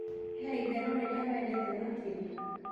he ĩtherũ rĩrĩa wendete makĩrĩa